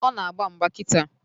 Ọ na-agba mgba kịta.